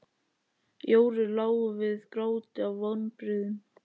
Jóru lá við gráti af vonbrigðum.